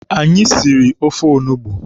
Anyị siri ofe onugbu.